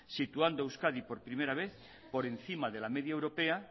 situando a euskadi por primera vez por encima de la media europea